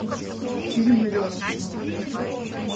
фильм лед